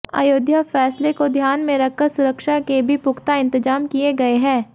अयोध्या फैसले को ध्यान में रखकर सुरक्षा के भी पुख्ता इंतजाम किए गए है